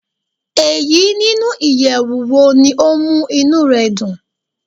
Eyi ninu iyẹwu wo ni o mu inú rẹ dun?